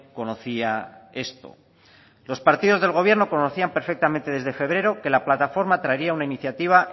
conocía esto los partidos del gobierno conocían perfectamente desde febrero que la plataforma traería una iniciativa